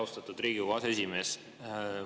Austatud Riigikogu aseesimees!